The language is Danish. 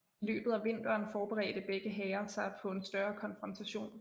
I løbet af vinteren forberedte begge hære sig på en større konfrontation